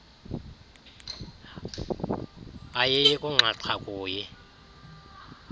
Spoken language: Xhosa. ayiyi kunxaxha kuyi